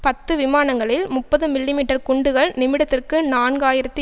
பத்து விமானங்களில் முப்பது மில்லிமீட்டர் குண்டுகள் நிமிடத்திற்கு நான்கு ஆயிரத்தி